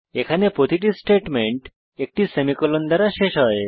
এখানে প্রতিটি স্টেটমেন্ট একটি সেমিকোলন দ্বারা শেষ হয়